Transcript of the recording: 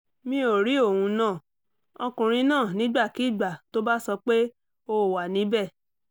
mi ò rí ohun náà ọkùnrin náà nígbàkigbà tó bá sọ pé ó ó wà níbẹ̀